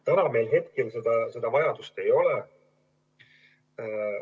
Täna meil seda vajadust ei ole.